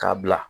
K'a bila